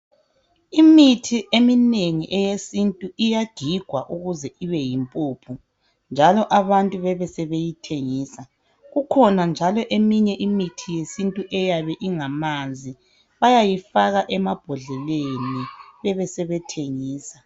Imithi eminengi eyesintu iyagigwa ukuze ibeyimpuphu njalo abantu bebesebeyithengisa. Kukhona njalo eminye imithi yesintu eyabe ingamanzi, bayayifaka emabhodleleni bebe sebeyithengisa.